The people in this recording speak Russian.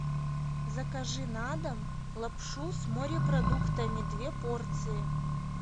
закажи на дом лапшу с морепродуктами две порции